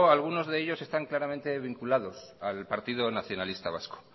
alguno de ellos están claramente vinculados al partido nacionalista vasco